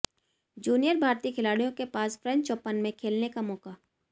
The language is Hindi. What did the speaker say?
जूनियर भारतीय खिलाड़ियों के पास फ्रेंच ओपन में खेलने का मौका